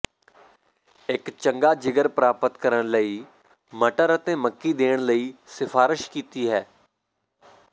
ਇੱਕ ਚੰਗਾ ਜਿਗਰ ਪ੍ਰਾਪਤ ਕਰਨ ਲਈ ਮਟਰ ਅਤੇ ਮੱਕੀ ਦੇਣ ਲਈ ਸਿਫਾਰਸ਼ ਕੀਤੀ ਹੈ